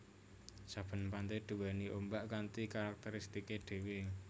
Saben pante duwéni ombak kanthi karakteristike dhewe